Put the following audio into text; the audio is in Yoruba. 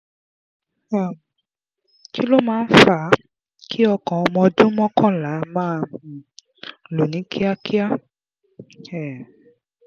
um kí ló máa ń fa a kí ọkàn ọmọ ọdún mọ́kànlá máa um lù ní kíákíá? um